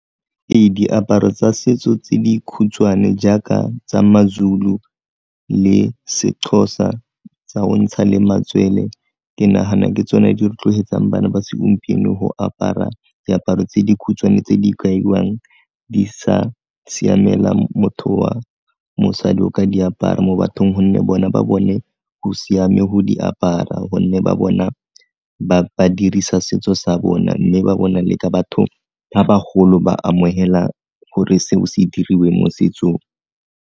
Ee, diaparo tsa setso tse dikhutshwane jaaka tsa maZulu le seXhosa tsa o ntsha le matswele ke nagana ke tsone di rotloetsang bana ba segompieno go apara diaparo tse dikhutshwane tse di kaiwang di sa siamela motho wa mosadi o ka di apara mo bathong gonne bona ba bone go siame go di apara gonne ba bona ba ba dirisa setso sa bona, mme ba bona le ka batho ba bagolo ba amogela gore se o se diriwe mo setsong.